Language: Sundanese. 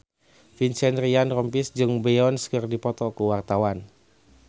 Vincent Ryan Rompies jeung Beyonce keur dipoto ku wartawan